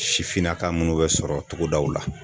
Sifinnaka munnu be sɔrɔ togodaw la.